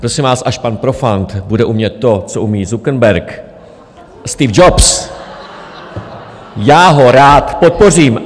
Prosím vás, až pan Profant bude umět to, co umí Zuckerberg, Steve Jobs, já ho rád podpořím.